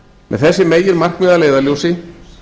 með þessi meginmarkmið að leiðarljósi